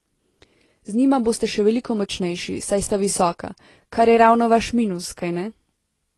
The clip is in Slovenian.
Z njima boste še veliko močnejši, saj sta visoka, kar je ravno vaš minus, kajne?